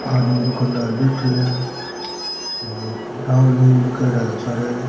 आदमी दुकानदार बैठयो है और लिखायोडा है सारे।